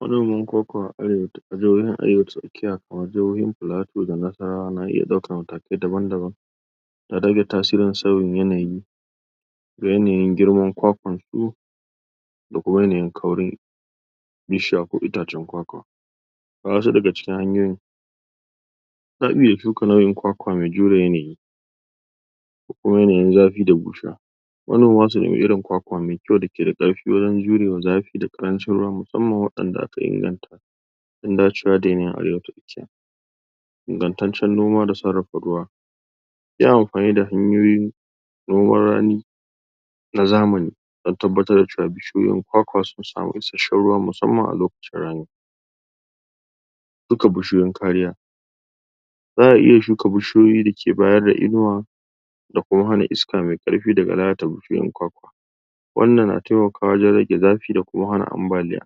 manoman kwakwa a arewa? kamar jihohin plato da nasarawa na iya aukar matakai daban daban don rage tasirin sauyin yanayi da yanayin girman kwakwansu da kuma yanayin kauri da ya shafi itacen kwakwan ga wasu daga cikin hanyoyin zaa iya shuka nau'in kwakwa mai jure yanayi da kuma yanayin zafi da bushewa? da irin kwakwa mai kyau da keda ƙarfi wajen jurewa zafi da ƙarancin ruwa musamman wa'inda aka inganta dan dacewa da irin arewa ta tsakiya ingantaccen noma da sarrafa ruwa yin anfani da hanyoyi noman rani na zamani dan tabbatar da cewa bishiyoyin kwakwa sun sami isashshen ruwa musamman a lokacin rani shuka bishiyoyin kariya za'a iya shuka bishiyoyi dake bayar da inuwa da kowani iska mai ƙarfi dake ratsa bishiyoyin kwakwa wannan na taimakawa waje rage zafi da kuma hana ambaliya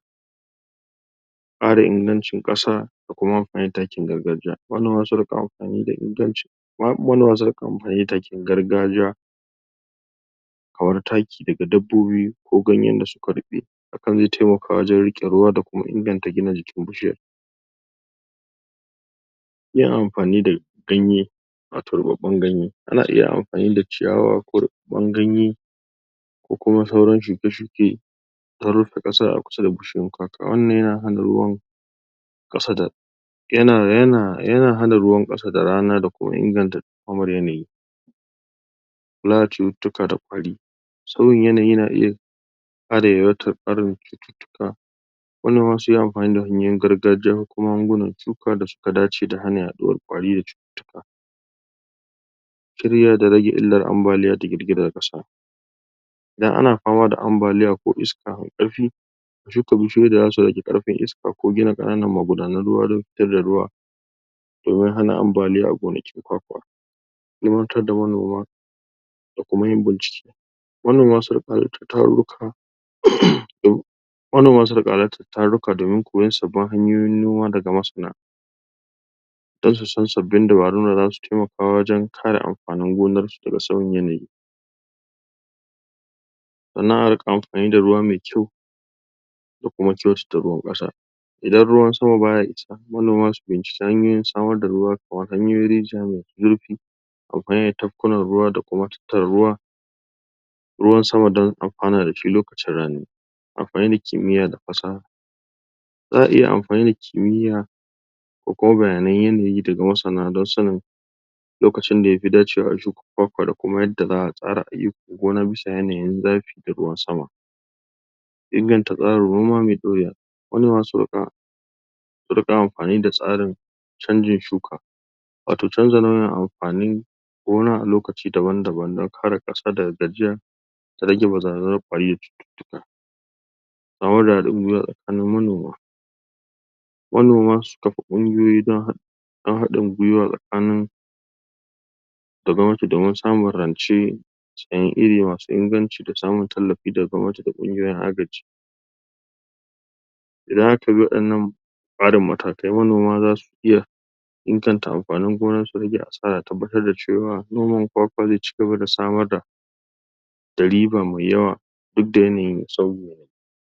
ƙara ingancin ƙasa da kuma anfani da takin gargajiya? gargajiya kamar taki daga dabbobi ko ganyen da suka ruɓe hakan zai taimaka wajen riƙe ruwa da kuma inganta gina jikin bishiyar iya anfani da ganye wato ruɓaɓɓen ganye ana iya anfani da ciyawa ko ruɓaɓɓen ganye da kuma sauran shuke shuke dan rufe ƙasa a kusa da bishiyoyin kwakwa, wannan yana hana ruwan ƙasa da yana yana yana hana ruwan ƙasa da rana da kuma inganta dumamar yanayi kula da cututtuka da kwari sauyin yanayi na iya ƙara yawaitar ƙarin cututtuka wannan ma sai yayi anfani da hanyoyin gargajiya ko kuma magungunan cuwuka da suka dace da hanyar yaduwar kwari da cututtuka tarewa da rage illar ambaliya da girgizar ƙasa idan ana fama da ambaliya ko iska mai ƙarfi shuka bishiyoyi da zasu rage ƙarfin iska ko gina ƙananan magudanan ruwa don fitar da ruwa domin hana ambaliya a gonakin kwakwa, ilmantar da manoma da kuma yin bincike manoma su riƙa halartar tarurruka? manoma su riƙa halartar tarurruka domin koyan sabbin hanyoyin noma daga masana don su san sabbin dabarun da zasu taimaka wajen kare anfanin gonan su daga sauyin yanayi domin a riƙa anfani da ruwa mai kyau da kuma kyautata ruwan ƙasar idan ruwan sama baya isa, manoma su fahimci ta hanyoyin samar da ruwa kamar hanyoyin rijiya mai zurfi ko kuma yin tafkunan ruwa da kuma tattara ruwa ruwan sama don anfana dashi lokacin rani, anfani da kimiyya da fasaha za'a iya anfani da kimiyya ko kuma bayanan yanayi daga masana don sanin lokacin da yafi dacewa a shuka kwakwa da kuma yadda za'a tsara aiyukan gona bisa yanayin zafi da ruwan sama inganta tsarin noma mai ɗorewa manoma su riƙa su riƙa anfani da tsarin canjin shuka wato canza launin anfanin gona a lokaci lokaci don kare ƙasa daga gajiya da rage barazanar ƙwari da cututtuka? tsakanin manoma manoma su kafa ƙungiyoyi don don haɗin gwiwa tsakanin da gwamnati domin sum rance sayen iri masu inganci da samun tallafi daga gwamnati da ƙungiyoyin agaji idan aka bi waɗannan tsarin matakai manoma zasu iya inganta anfanin gona su rage asara tabbatar da cewa noman kwakwa zai cigaba da samar da da riba mai yawa duk da yanayin sauyawa